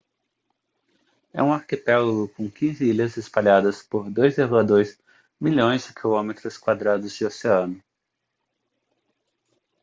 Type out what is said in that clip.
é um arquipélago com 15 ilhas espalhadas por 2,2 milhões de quilômetros quadrados de oceano